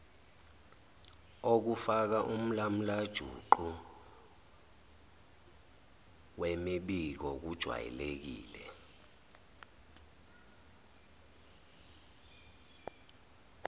okufakaumlamulajuqu wemibiko kujwayelekile